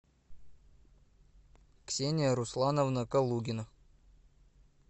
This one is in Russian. ксения руслановна калугина